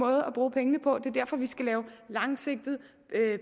at bruge pengene på det er derfor vi skal lave en langsigtet